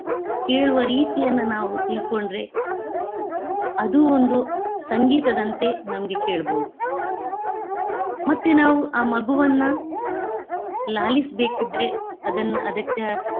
ಕೇಳುವ ರೀತಿಯನ್ನ ನಾವು ತಿಳ್ಕೊಂಡ್ರೆ ಅದು ಒಂದು ಸಂಗೀತದಂತೆ ನಮ್ಗೆ ಕೇಳ್ಬೋದು. ಮತ್ತೆ ನಾವು ಮಗುವನ್ನಾ ಲಾಲಿಸಬೇಕಿದ್ರೆ ಅದನ್ನ ಅದಕ್ಕ.